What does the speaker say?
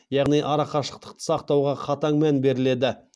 яғни арақашықты сақтауға қатаң мән беріледі